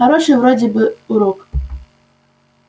хороший вроде бы получил урок